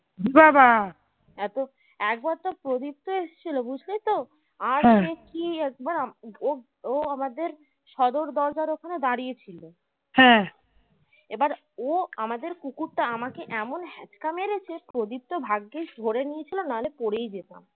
ও আমাদের কুকুরটা আমাকে এমন হেচ্কা মেরেছে প্রদীপ্ত ভাগ্গিস ধরে নিয়েছিল নাহলে পরেই যেতাম